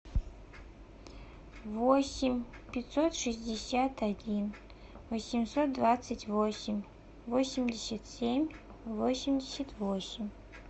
восемь пятьсот шестьдесят один восемьсот двадцать восемь восемьдесят семь восемьдесят восемь